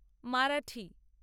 Marathi